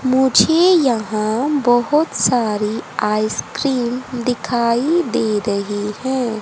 मुझे यहां बहोत सारी आइसक्रीम दिखाई दे रही है।